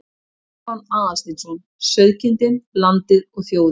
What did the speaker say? Stefán Aðalsteinsson: Sauðkindin, landið og þjóðin.